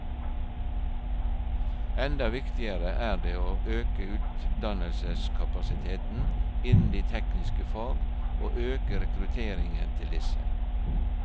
Enda viktigere er det å øke utdannelseskapasiteten innen de tekniske fag og øke rekrutteringen til disse.